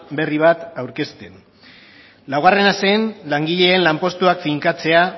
berri bat aurkezten laugarrena zen langileen lanpostuak finkatzea